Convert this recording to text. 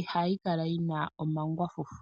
ihayi kala yina omangwafufu.